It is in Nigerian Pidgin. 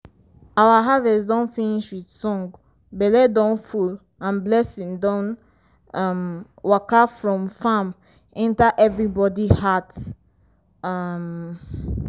our harvest don finish with song belle don full and blessing don um waka from farm enter everybody heart. um